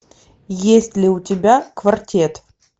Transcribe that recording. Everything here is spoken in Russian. есть ли у тебя квартет